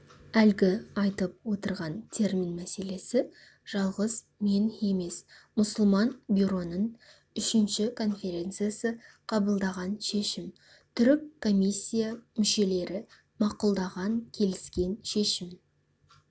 әлгі айтып отырған термин мәселесі жалғыз мен емес мұсылман бюроның үшінші конференциясы қабылдаған шешім түрік комиссия мүшелері мақұлдаған келіскен шешім